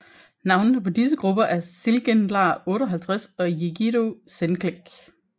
Navnene på disse grupper er Çılgınlar 58 og Yiğido Gençlik